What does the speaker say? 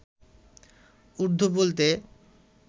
উর্দু বলতে